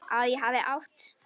Að ég hafi átt.?